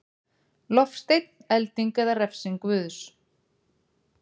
Loftsteinn, elding eða refsing Guðs.